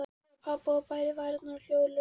Hún horfði á pabba og bærði varirnar hljóðlaust.